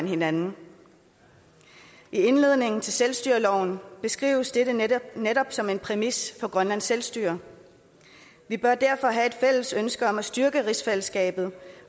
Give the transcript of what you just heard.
hinanden i indledningen til selvstyreloven beskrives dette netop netop som en præmis for grønlands selvstyre vi bør derfor have et fælles ønske om at styrke rigsfællesskabet